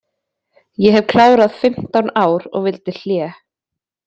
Ég hef klárað fimmtán ár og vildi hlé.